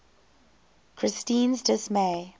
christine s dismay